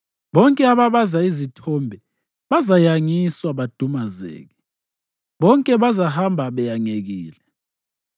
Bonke ababaza izithombe bazayangiswa badumazeke; bonke bazahamba beyangekile.